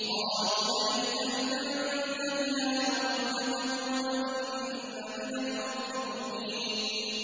قَالُوا لَئِن لَّمْ تَنتَهِ يَا نُوحُ لَتَكُونَنَّ مِنَ الْمَرْجُومِينَ